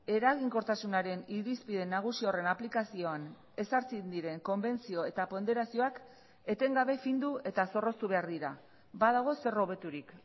eraginkortasunaren irizpide nagusi horren aplikazioan ezartzen diren konbentzio eta ponderazioak etengabe findu eta zorroztu behar dira badago zer hobeturik